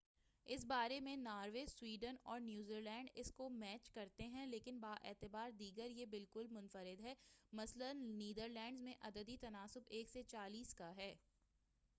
اس بارے میں Norway, Sweden اور نیوزیلینڈ اس کو میچ کرتے ہیں، لیکن باعتبار دیگر یہ بالکل منفرد ہے مثلاٍ نیدرلینڈس میں عددی تناسب ایک سے چالیس کا ہے۔